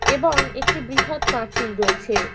এবং একটি বৃহৎ প্রাচীর রয়েছে।